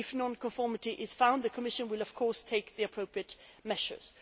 If non conformity is found, the Commission will, of course, take the appropriate measures.